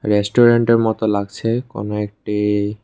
রেস্টুরেন্টের মতো লাগছে কোনো একটি--